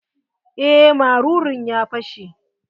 Eh marurun ya fashe.